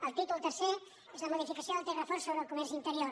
el títol tercer és la modificació del text refós sobre el comerç interior